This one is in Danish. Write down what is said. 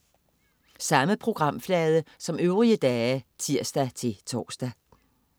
Samme programflade som øvrige dage (tirs-tors)